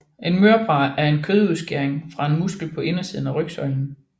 En mørbrad er en kødudskæring fra en muskel på indersiden af rygsøjlen